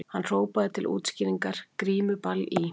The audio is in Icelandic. Hann hrópaði til útskýringar:- Grímuball í